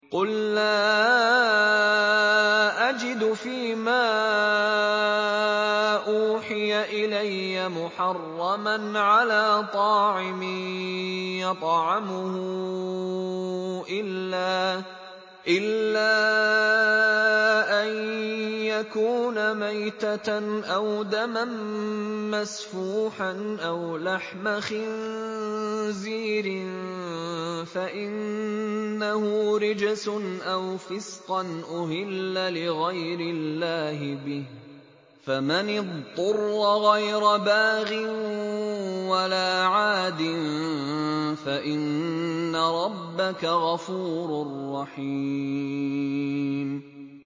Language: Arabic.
قُل لَّا أَجِدُ فِي مَا أُوحِيَ إِلَيَّ مُحَرَّمًا عَلَىٰ طَاعِمٍ يَطْعَمُهُ إِلَّا أَن يَكُونَ مَيْتَةً أَوْ دَمًا مَّسْفُوحًا أَوْ لَحْمَ خِنزِيرٍ فَإِنَّهُ رِجْسٌ أَوْ فِسْقًا أُهِلَّ لِغَيْرِ اللَّهِ بِهِ ۚ فَمَنِ اضْطُرَّ غَيْرَ بَاغٍ وَلَا عَادٍ فَإِنَّ رَبَّكَ غَفُورٌ رَّحِيمٌ